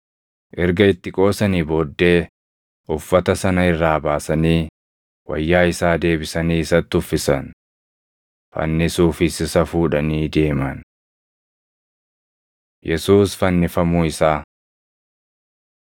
Erga itti qoosanii booddee uffata sana irraa baasanii wayyaa isaa deebisanii isatti uffisan. Fannisuufis isa fuudhanii deeman. Yesuus Fannifamuu Isaa 27:33‑44 kwf – Mar 15:22‑32; Luq 23:33‑43; Yoh 19:17‑24